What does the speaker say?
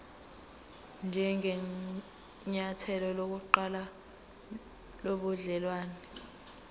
njengenyathelo lokuqala lobudelwane